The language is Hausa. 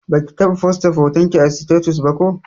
Baki taɓa fosta hotonki a sitatus ba ko?